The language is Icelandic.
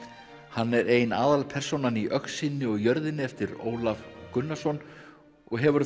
hann er ein aðalpersónan í öxinni og jörðinni eftir Ólaf Gunnarsson og hefur